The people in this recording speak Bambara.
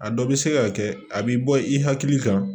A dɔ bɛ se ka kɛ a bɛ bɔ i hakili kan